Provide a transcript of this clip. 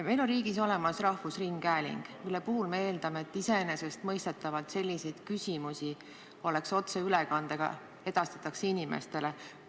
Meil on riigis olemas rahvusringhääling, mille puhul me iseenesestmõistetavalt eeldame, et selliste küsimuste arutelu edastataks inimestele otseülekandes.